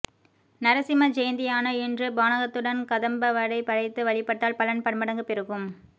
நரசிம்ம ஜெயந்தியான இன்று பானகத்துடன் கதம்பவடை படைத்து வழிபட்டால் பலன் பன்மடங்கு பெருகும்